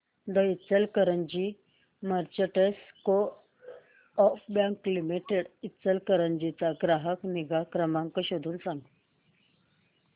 दि Ichalkaranji merchants coop bank limited Ichalkaranji चा ग्राहक निगा नंबर शोधून सांग